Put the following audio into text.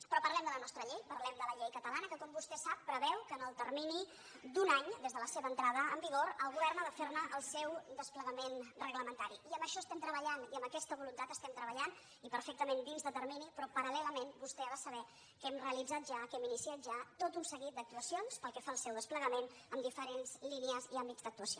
però parlem de la nostra llei parlem de la llei catala·na que com vostè sap preveu que en el termini d’un any des de la seva entrada en vigor el govern ha de fer el seu desplegament reglamentari i en això estem treballant i amb aquesta voluntat estem treballant i perfectament dins de termini però paralvostè ha de saber que hem realitzat ja que hem iniciat ja tot un seguit d’actuacions pel que fa al seu desple·gament en diferents línies i àmbits d’actuació